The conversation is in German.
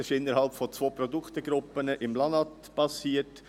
Es ist innerhalb von zwei Produktgruppen im LANAT geschehen.